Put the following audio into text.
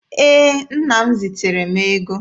Ee, nna m ziteere m ego.